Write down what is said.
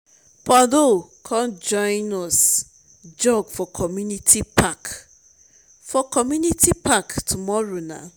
paulo come join us jog for community park for community park tomorrow nah